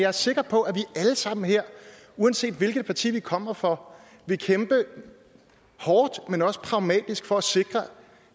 er sikker på at vi alle sammen her uanset hvilket parti vi kommer fra vil kæmpe hårdt men også pragmatisk for at sikre